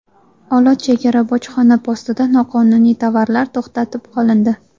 Olot chegara bojxona postida noqonuniy tovarlar to‘xtatib qolindi.